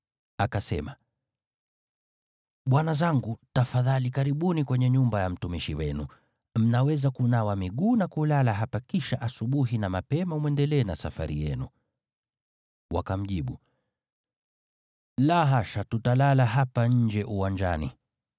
Akasema, “Bwana zangu, tafadhali karibuni kwenye nyumba ya mtumishi wenu. Mnaweza kunawa miguu na kulala hapa kisha asubuhi na mapema mwendelee na safari yenu.” Wakamjibu, “La hasha, tutalala hapa nje uwanjani.”